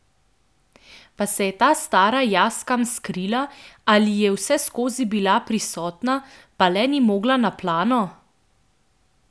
Pa se je ta stara jaz kam skrila ali je vseskozi bila prisotna, pa le ni mogla na plano?